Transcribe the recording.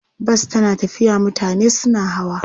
Bas tana tafiya mutane suna hawa.